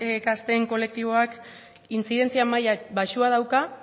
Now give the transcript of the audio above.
gazteen kolektiboak intzidentzia maila baxua dauka